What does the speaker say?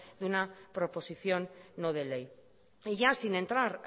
de una proposición no de ley ya sin entrar